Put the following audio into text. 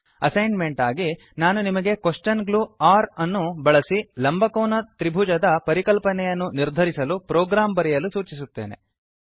assign made ಆಗಿ ನಾನು ನಿಮಗೆ ಕ್ವೆಶ್ಚನ್ ಗ್ಲೂ ಒರ್ ಅನ್ನು ಬಳಸಿ ಲಂಬಕೋನ ತ್ರಿಭುಜದ ಪರಿಕಲ್ಪನೆಯನ್ನು ನಿರ್ಧರಿಸಲು ಪ್ರೋಗ್ರಾಂ ಬರೆಯಲು ಸೂಚಿಸುತ್ತೇನೆ